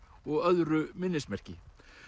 og öðru minnismerki